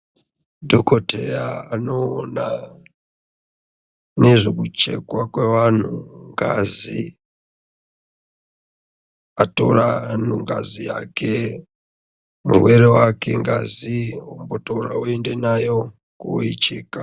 Dhokoteya anoona nezvekuchekwa kwevanhu ngazi. Atora anhu ngazi yake murwere wake ngazi otora oende nayo kooicheka.